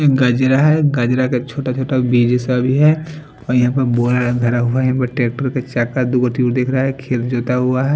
एक गजरा है गजरा का छोटा छोटा बीज सा भी है और यहां पर बोरा रख धरा हुआ है ट्रैक्टर के चका दु गो दिख रहा है खेत जोता हुआ है।